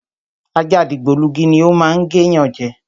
Ajá dìgbòlugi ni o má ń gé yan je